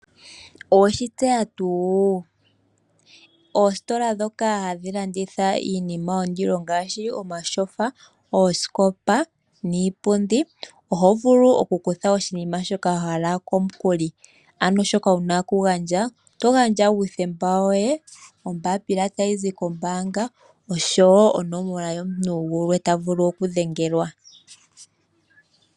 Oweshi tseya tuu! Oositola ndhoka hadhi landitha iinima yondilo ngaashi omatyofa, oosikopa niipundi oho vulu okukutha oshinima shoka wa hala komukuli. Ano shoka wuna okugandja oto gandja ombapila tayi zi kombaanga oshowo onomola yomuntu gulwe ta vulu okudhengelwa.